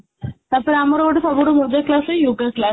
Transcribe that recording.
ଆଚ୍ଛା ଆମର ଗୋଟେ ସବୁଠୁ ମଜା class ଥାଏ yoga class